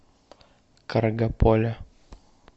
каргополя